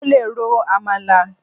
Mo lè ro àmàlà.